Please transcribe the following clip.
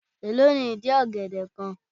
Èló ni ìdí ọ̀gẹ̀dẹ̀ kan?